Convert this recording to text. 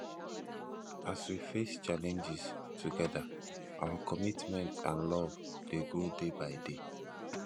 as we face challenges together our commitment and love dey grow day by day